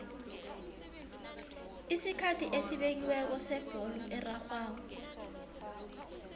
isikhathi esibekiweko sebholo erarhwako